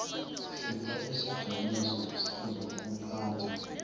sipha isijamiso sezokuphatha